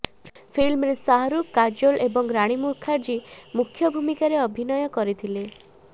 ଫିଲ୍ମରେ ଶାହାରୁଖ୍ କାଜୋଲ୍ ଏବଂ ରାଣୀ ମୁଖାର୍ଜୀ ମୁଖ୍ୟା ଭୂମିକାରେ ଅଭିନୟ କରିଥିଲେ